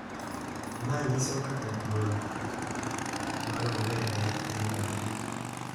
Ma nyiso kaka duol ma rowere medore.